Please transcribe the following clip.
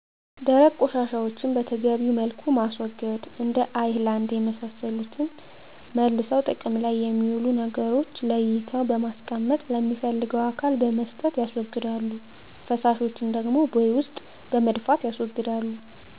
ደረቅ ቆሻሻዎችን በተገቢዉ መልኩ ማስወገድ እንደ አይላንድ የመሳሰሉትን መልሰዉ ጥቅም ላይ የሚዉሉ ነገሮችን ለይተዉ በማስቀመጥ ለሚፈልገዉ አካል በመስጠት ያስወግዳሉ ፈሳሾችን ደግሞ ቦይ ዉስጥ በመድፍት ያስወግዳሉ